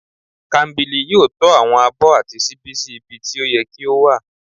kambili yóò tọ́ àwọn abó àti sibí sí ibí tí o yẹ́ kí o wa